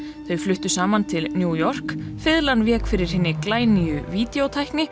þau fluttu saman til New York fiðlan vék fyrir hinni glænýju